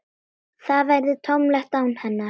Það verður tómlegt án hennar.